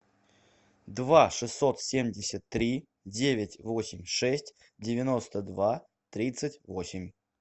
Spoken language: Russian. два шестьсот семьдесят три девять восемь шесть девяносто два тридцать восемь